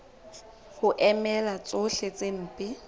ho emela tsohle tse mpe